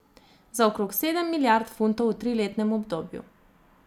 Za okrog sedem milijard funtov v triletnem obdobju.